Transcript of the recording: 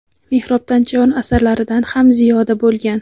"Mehrobdan chayon" asarlaridan ham ziyoda bo‘lgan.